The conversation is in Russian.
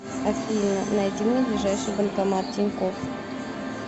афина найди мне ближайший банкомат тинькофф